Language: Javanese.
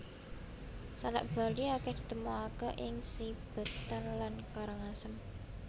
Salak Bali akèh ditemokaké ing Sibetan lan Karangasem